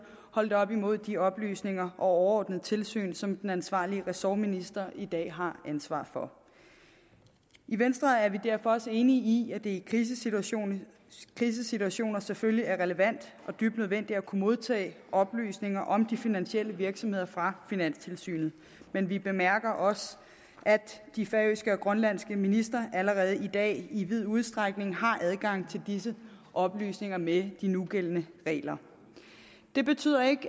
holdt op imod de oplysninger og det overordnede tilsyn som den ansvarlige ressortminister i dag har ansvar for i venstre er vi derfor også enige i at det i krisesituationer krisesituationer selvfølgelig er relevant og dybt nødvendigt at kunne modtage oplysninger om de finansielle virksomheder fra finanstilsynet men vi bemærker os at de færøske og grønlandske ministre allerede i dag i vid udstrækning har adgang til disse oplysninger med de nugældende regler det betyder ikke at